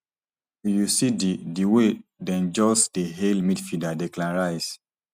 if you see di di way dem just dey hail midfielder declan rice